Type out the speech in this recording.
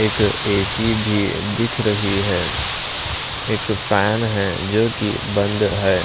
एक एसी भी दिख रही है एक फैन है जो कि बंद है।